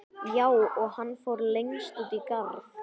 Hún: Já, og hann fór lengst út í garð.